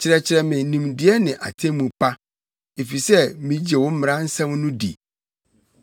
Kyerɛkyerɛ me nimdeɛ ne atemmu pa, efisɛ migye wo mmara nsɛm no di.